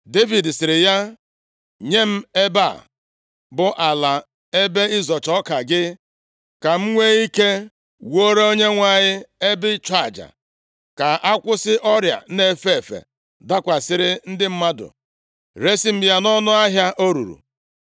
Devid sịrị ya, “Nye m ebe a, bụ ala ebe ịzọcha ọka gị, ka m nwee ike wuore Onyenwe anyị ebe ịchụ aja, ka akwụsị ọrịa a na-efe efe dakwasịrị ndị mmadụ. Resi m ya nʼọnụ ahịa o ruru.”